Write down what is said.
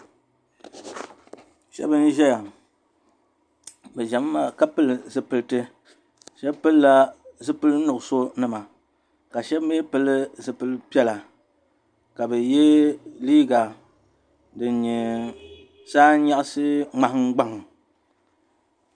Sheba n ʒɛya bɛ ʒɛmi maa ka pili zipilti sheba pilila zipil'nuɣuso nima ka sheba mee pili zipilpiɛla ka bɛ ye liiga din nye saa n nyaɣasi ŋmahingbaŋ.